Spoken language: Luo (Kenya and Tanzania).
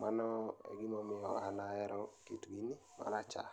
mano e gima omiyo an ahero kit gini marachar